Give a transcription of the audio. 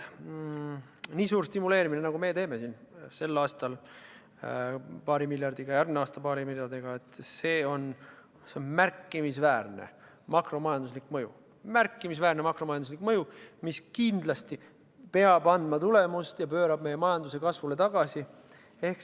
Nii suur stimuleerimine, nagu meie siin teeme – sel aastal paari miljardiga ja järgmisel aastal paari miljardiga –, sel on märkimisväärne makromajanduslik mõju, mis kindlasti peab andma tulemust ja pöörama meie majanduse kasvule tagasi.